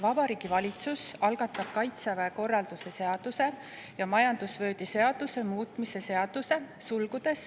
Vabariigi Valitsus algatab Kaitseväe korralduse seaduse ja majandusvööndi seaduse muutmise seaduse eelnõu.